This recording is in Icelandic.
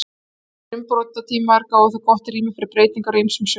Slíkir umbrotatímar gáfu þó gott rými fyrir breytingar á ýmsum sviðum.